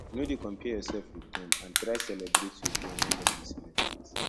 no de compare yourself with dem and try celebrate with dem when dem de celebrate